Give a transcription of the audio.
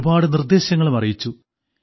ഒരുപാട് നിർദ്ദേശങ്ങളും അറിയിച്ചു